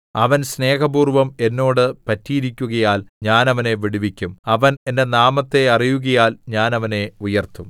അവൻ സ്നേഹപൂർവം എന്നോട് പറ്റിയിരിക്കുകയാൽ ഞാൻ അവനെ വിടുവിക്കും അവൻ എന്റെ നാമത്തെ അറിയുകയാൽ ഞാൻ അവനെ ഉയർത്തും